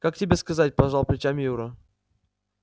как тебе сказать пожал плечами юра